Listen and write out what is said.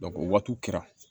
o waatiw kɛra